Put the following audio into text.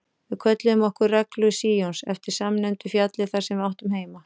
Við kölluðum okkur Reglu Síons eftir samnefndu fjalli þar sem við áttum heima.